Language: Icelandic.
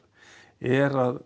er að